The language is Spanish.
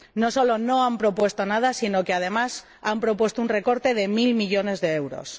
No solo no han propuesto nada, sino que, además, han propuesto un recorte de mil millones de euros.